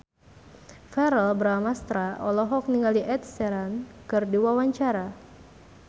Verrell Bramastra olohok ningali Ed Sheeran keur diwawancara